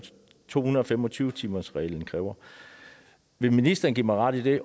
to hundrede og fem og tyve timersreglen kræver vil ministeren give mig ret i det